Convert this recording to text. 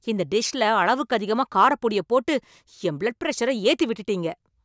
இந்த டிஷ்ல அளவுக்கதிகமா காரப்பொடியப் போட்டு என் பிளட் பிரஷர ஏத்தி விட்டுட்டீங்க.